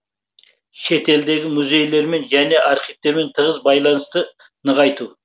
шетелдегі музейлермен және архивтермен тығыз байланысты нығайту